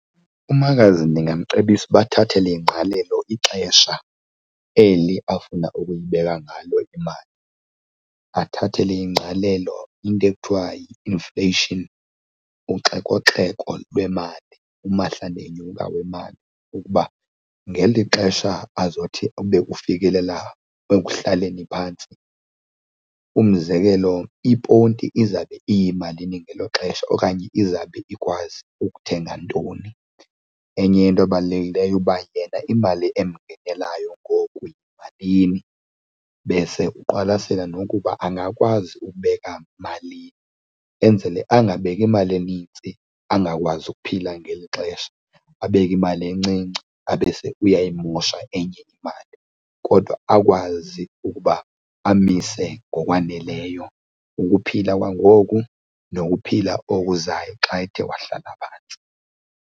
Umakazi ndingamcebisa uba athathele ingqalelo ixesha eli afuna ukuyibeka ngalo imali. Athathele ingqalelo into ekuthiwa yi-inflation, uxekoxeko lwemali, umahla ndenyuka wemali ukuba ngeli xesha azothi ube ufikelela ekuhlaleni phantsi, umzekelo iponti izawube iyimalini ngelo xesha okanye izawube ikwazi ukuthenga ntoni. Enye into ebalulekileyo ukuba yena imali emngelayo ngoku yimalini bese uqwalasele nokuba angakwazi ukubeka malini enzele angabeki imali enintsi angakwazi ukuphila ngeli xesha, abeke imali encinci abe buyayimosha enye imali. Kodwa akwazi ukuba amise ngokwaneleyo ukuphila kwangoku nokuphila okuzayo xa ethe wahlala phantsi.